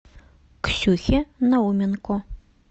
ксюхе науменко